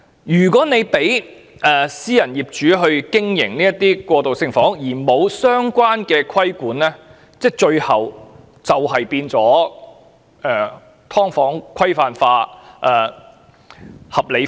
如果政府容許私人業主經營過渡性房屋，但卻沒有實施相關規管，最終只會演變成"劏房"規範化或合理化。